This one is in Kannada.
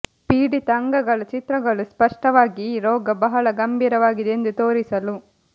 ಪೀಡಿತ ಅಂಗಗಳ ಚಿತ್ರಗಳು ಸ್ಪಷ್ಟವಾಗಿ ಈ ರೋಗ ಬಹಳ ಗಂಭೀರವಾಗಿದೆ ಎಂದು ತೋರಿಸಲು